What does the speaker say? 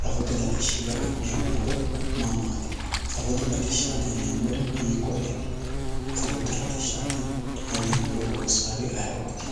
safote latishshi afi'neemmo horo maa maati safote latishshaati yineemmori hiikkoreeti safote latishshaati yineemmore loossawoori ayee"ooti.